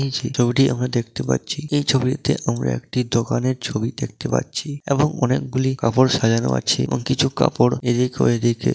এইযে ছবিটি আমরা দেখতে পাচ্ছি এই ছবিটিতে আমরা একটি দোকানের ছবি দেখতে পাচ্ছি এবং অনেকগুলি কাপড় সাজানো আছে এবং কিছু কাপড় এই দিকে ওই দিকে--